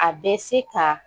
A bɛ se ka